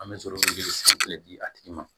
An bɛ sɔrɔ ka joli san fɛnɛ di a tigi ma